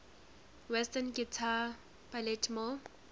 western greater baltimore